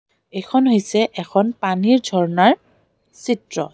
এইখন হৈছে এখন পানীৰ ঝৰ্ণাৰ চিত্ৰ।